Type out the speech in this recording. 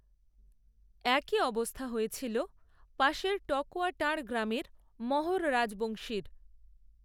একই অবস্থা হয়েছিল পাশের টকূয়াটাঁড় গ্রামের মহোর রাজবংশীর